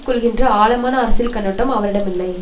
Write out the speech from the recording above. கொள்கின்ற ஆழமான அரசியல் கண்ணோட்டம் அவரிடமில்லை